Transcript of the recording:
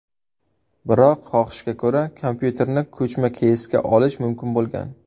Biroq xohishga ko‘ra, kompyuterni ko‘chma keysga olish mumkin bo‘lgan.